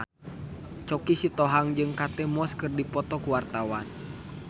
Choky Sitohang jeung Kate Moss keur dipoto ku wartawan